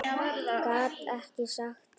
Gat ekki sagt það.